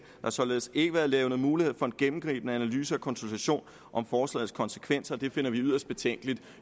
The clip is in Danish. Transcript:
har således ikke været levnet mulighed for en gennemgribende analyse og konsultation om forslagets konsekvenser og det finder vi yderst betænkeligt